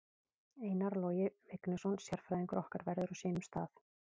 Einar Logi Vignisson sérfræðingur okkar verður á sínum stað.